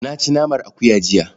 Na ci naman akuya jiya.